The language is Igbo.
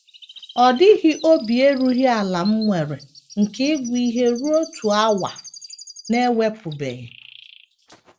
Ọ dịghị obi erughị ala m nwere nke ịgụ ihe ruo otu awa na - ewepụbeghị. ”